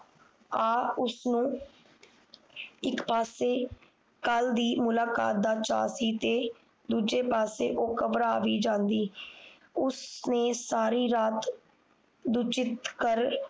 ਆ ਉਸਨੂੰ ਇਕ ਪਾਸੇ ਕੱਲ ਦੀ ਮੁਲਾਕਾਤ ਦਾ ਚਾਹ ਸੀ ਤੇ ਦੂਜੇ ਪਾਸੇ ਉਹ ਘਬਰਾ ਵੀ ਜਾਂਦੀ ਉਸਨੇ ਸਾਰੀ ਰਾਤ ਦੂਜੀ ਕਰ